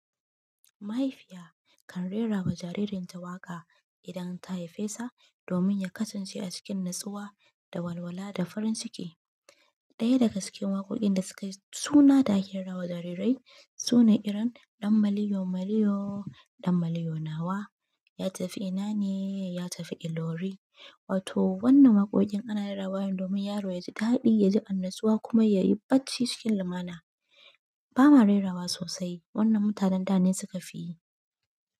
Mahaifiya kan rera wa jaririn ta waƙa idan ta haife sa domin ya kasance a cikin natsuwa da walwala da farin ciki. Ɗaya daga cikin waƙoƙin da suka yi suna da ake rawa jarirai sune irin ɗan maliyo maliyo, ɗan maliyo nawa, ya tafi ina ne, ya tafi Ilori. Wato wannan waƙoƙin ana rerawa ne domin yaro ya ji daɗi, ya ji annatsuwa kuma ya yi bacci cikin lumana. Ba ma rerawa sosai. Wannan mutanen da ne suka fi yi.